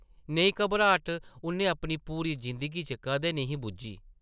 नेही घबराट उʼन्नै अपनी पूरी जिंदगी च कदें निं ही बुज्झी ।